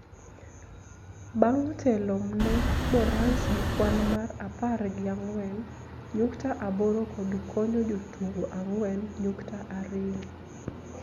bang� telo ne Morans gi kwan mar apar gi ang'wen nyukta aboro kod konyo jotugo ang'wen nyukta ariyo